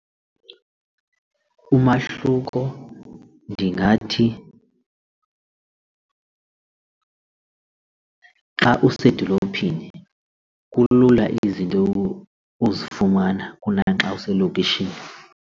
Umahluko ndingathi xa usedolophini kulula izinto uzifumana kunaxa uselokishini.